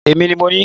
Èmi ni mo ní